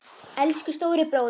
Elsku stóri bróðir!